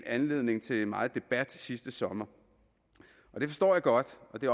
anledning til meget debat sidste sommer det forstår jeg godt og det